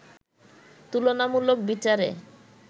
তুলনামুলক বিচারে